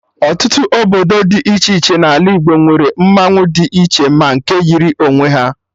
Ọtụtụ obodo dị iche iche N'ala Igbo nwere mmanwụ dị iche ma nke yiri onwe ha